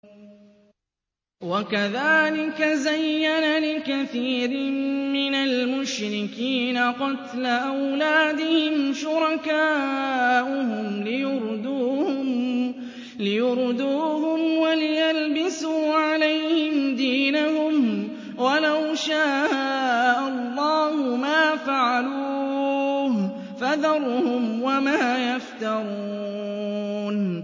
وَكَذَٰلِكَ زَيَّنَ لِكَثِيرٍ مِّنَ الْمُشْرِكِينَ قَتْلَ أَوْلَادِهِمْ شُرَكَاؤُهُمْ لِيُرْدُوهُمْ وَلِيَلْبِسُوا عَلَيْهِمْ دِينَهُمْ ۖ وَلَوْ شَاءَ اللَّهُ مَا فَعَلُوهُ ۖ فَذَرْهُمْ وَمَا يَفْتَرُونَ